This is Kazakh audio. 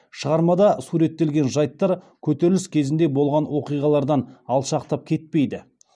шығармада суреттелген жайттар көтеріліс кезінде болған окиғалардан алшақтап кетпейді